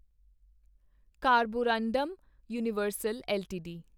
carborundum Universal LTD